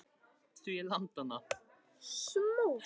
Af hverju hafði mamma verið að gráta?